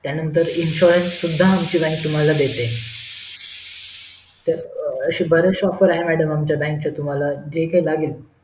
त्यानंतर insurance सुद्धा आमची बँक तुम्हाला देते तर असे बरेच शे offers आहेत madam बँक चे तुम्हाला जे काही लागेल